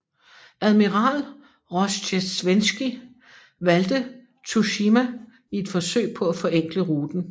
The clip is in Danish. Admiral Rozjestvenskij valgte Tsushima i et forsøg på at forenkle ruten